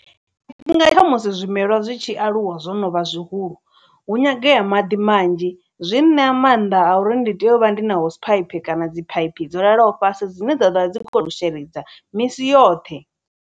Tshifhinga tsha musi zwimelwa zwi tshi aluwa zwo no vha zwihulu hu nyangea maḓi manzhi zwi ṋea maanḓa a uri ndi tea u vha ndi hose phaiphi kana dzi phaiphi dzo lalaho fhasi dzine dzavha dzi kho to sheledza misi yoṱhe.